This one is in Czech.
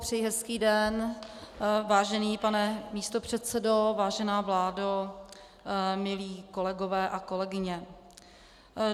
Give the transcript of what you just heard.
Přeji hezký den vážený pane místopředsedo, vážená vládo, milí kolegové a kolegyně.